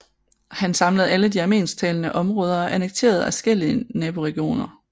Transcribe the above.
Han samlede alle de armensktalende områder og annekterede adskillige naboregioner